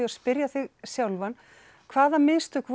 að spyrja þig sjálfan hvaða mistök